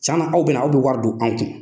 Tiɲɛna aw bɛna na, aw bɛ wari do an kun